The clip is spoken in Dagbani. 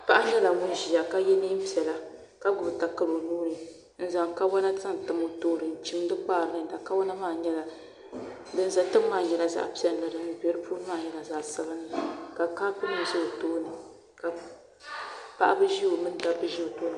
paɣa nyɛla ŋun ʒiya ka ye neen' piɛla ka gbubi takara o nuu ni zaŋ kawana zaŋ tam o tooni n- chimdi kpaari niŋda kawana maa nyɛla din za tiŋa maa nyɛla zaɣ' piɛlli ka din be puuni nyɛla zaɣ' sabinli ka kaapu nima za o tooni ka paɣa ni dabba ʒi o tooni.